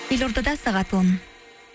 елордада сағат он